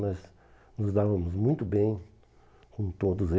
Nós nos dávamos muito bem com todos